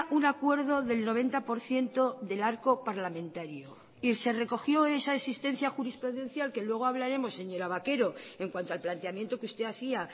un acuerdo del noventa por ciento del arco parlamentario y se recogió esa existencia jurisprudencial que luego hablaremos señora vaquero en cuanto al planteamiento que usted hacía